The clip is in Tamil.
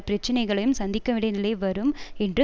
பிரச்சனைகளையும் சந்திக்கவேண்டிய நிலை வரும் என்று